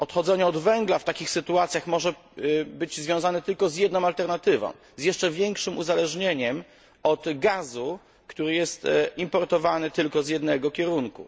Odchodzenie od węgla w takich sytuacjach może być związane tylko z jedną alternatywą jeszcze większym uzależnieniem od gazu, który jest importowany tylko z jednego kierunku.